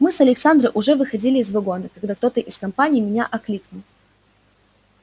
мы с александрой уже выходили из вагона когда кто-то из компании меня окликнул